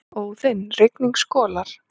Óðinn: Rigning skolar.